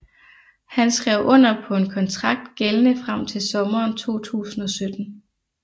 Han skrev under på en kontrakt gældende frem til sommeren 2017